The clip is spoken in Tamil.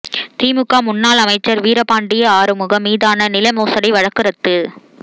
திமுக முன்னாள் அமைச்சர் வீரப்பாண்டி ஆறுமுகம் மீதான நிலமோசடி வழக்கு ரத்து